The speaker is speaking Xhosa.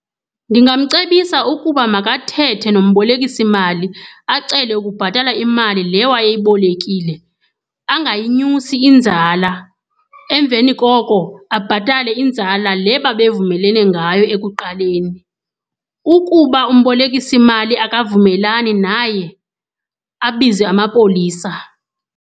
Ndingamcebisa ukuba makathethe nombolekisimali, acele ukubhatala imali le wayeyibolekile angayinyusi inzala. Emveni koko abhatale inzala le babe vumelelene ngayo ekuqaleni. Ukuba umbolekisimali akavumelani naye abize amapolisa.